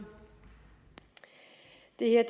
det er at